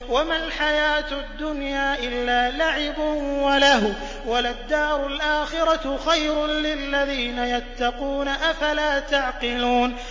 وَمَا الْحَيَاةُ الدُّنْيَا إِلَّا لَعِبٌ وَلَهْوٌ ۖ وَلَلدَّارُ الْآخِرَةُ خَيْرٌ لِّلَّذِينَ يَتَّقُونَ ۗ أَفَلَا تَعْقِلُونَ